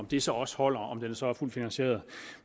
det så også holder om den så er fuldt finansieret